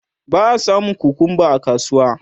ba a samun kukumba a kasuwa